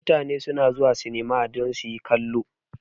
Mutane su na zuwa sinima don su yi kallo